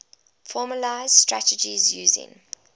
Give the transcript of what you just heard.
formalised strategies using